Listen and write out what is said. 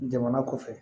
Jamana kɔfɛ